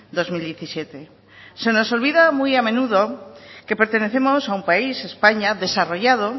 dos mil diecisiete se nos olvida muy a menudo que pertenecemos a un país españa desarrollado